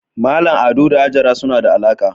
Mallam Ado da Hajara suna da alaka